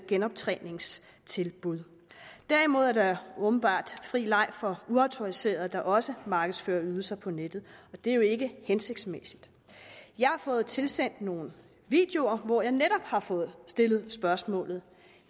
genoptræningstilbud derimod er der åbenbart fri leg for uautoriserede der også markedsfører ydelser på nettet og det er jo ikke hensigtsmæssigt jeg har fået tilsendt nogle videoer hvor jeg netop har fået stillet spørgsmålet